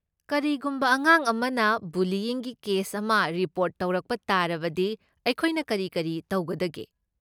ꯀꯔꯤꯒꯨꯝꯕ ꯑꯉꯥꯡ ꯑꯃꯅ ꯕꯨꯂꯤꯌ꯭ꯢꯪꯒꯤ ꯀꯦꯁ ꯑꯃ ꯔꯤꯄꯣꯔꯠ ꯇꯧꯔꯛꯄ ꯇꯥꯔꯕꯗꯤ ꯑꯩꯈꯣꯏꯅ ꯀꯔꯤ ꯀꯔꯤ ꯇꯧꯒꯗꯒꯦ?